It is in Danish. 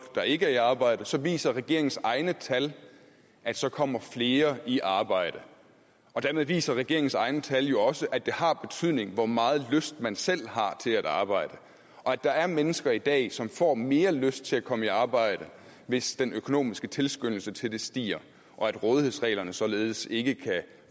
der ikke er i arbejde så viser regeringens egne tal at så kommer flere i arbejde og dermed viser regeringens egne tal jo også at det har betydning hvor meget lyst man selv har til at arbejde og at der er mennesker i dag som får mere lyst til at komme i arbejde hvis den økonomiske tilskyndelse til det stiger og at rådighedsreglerne således ikke kan